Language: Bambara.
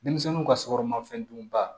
Denmisɛnninw ka sokɔnɔnɔmafɛn dunba